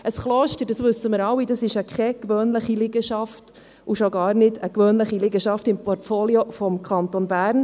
Ein Kloster, das wissen wir alle, ist keine gewöhnliche Liegenschaft und schon gar nicht eine gewöhnliche Liegenschaft im Portfolio des Kantons Bern.